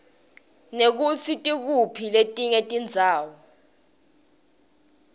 nekutsi tikuphi letinye tindzawo